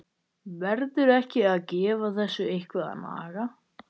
Verður ekki að gefa þessu eitthvað að naga?